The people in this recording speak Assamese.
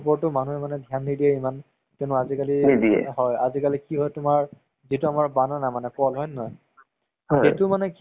ভাবিলো কি movies চাম, এনে boring লাগি আছে। পাছত কিবা এহ এনʼকাই এটা movies আছিলে